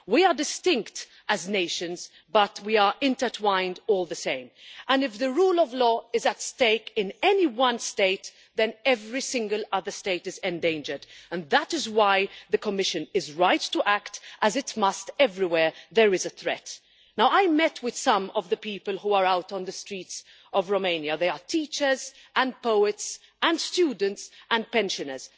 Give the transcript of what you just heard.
We are distinct as nations but we are intertwined all the same, and if the rule of law is at stake in any one state, then every single other state is endangered, and that is why the Commission is right to act, as it must do everywhere there is a threat. I met with some of the people who are out on the streets in Romania they are teachers and poets and students and pensioners.